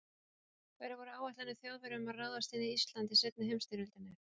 Hverjar voru áætlanir Þjóðverja um að ráðast inn í Ísland í seinni heimsstyrjöldinni?